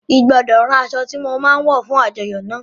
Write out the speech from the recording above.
I gbọdọ rán aṣọ ti mo ma wọ fún àjọyọ́ náà.